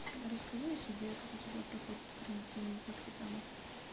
расскажи о себе как у тебя проходит карантин как ты там